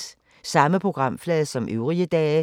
Samme programflade som øvrige dage